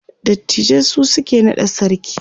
dattijai su suke naɗa sarki